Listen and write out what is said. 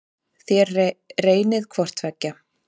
Þér reynið hvort tveggja.